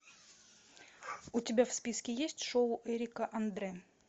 у тебя в списке есть шоу эрика андре